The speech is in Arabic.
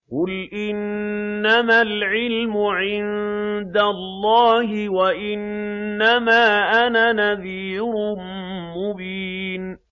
قُلْ إِنَّمَا الْعِلْمُ عِندَ اللَّهِ وَإِنَّمَا أَنَا نَذِيرٌ مُّبِينٌ